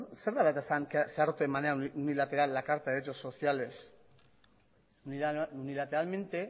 zer dela eta onartu zen de manera unilateral la carta de derecho sociales unilateralmente